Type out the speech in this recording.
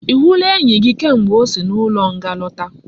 I hula enyi gi kamgbe osi na ulo nga lota?